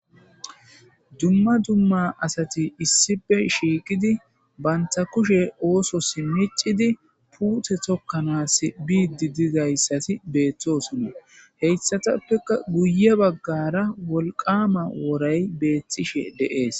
Dumma dumma asati issipe shiiqidi banta kushe oososimicidi puute tokkanaas biiddi dizayssati beeththosonna heyssatappeka guye baggara wolqama woray beethtishe deees.